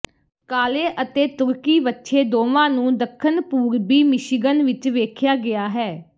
ਕਾਲੇ ਅਤੇ ਤੁਰਕੀ ਵੱਛੇ ਦੋਵਾਂ ਨੂੰ ਦੱਖਣ ਪੂਰਬੀ ਮਿਸ਼ੀਗਨ ਵਿੱਚ ਵੇਖਿਆ ਗਿਆ ਹੈ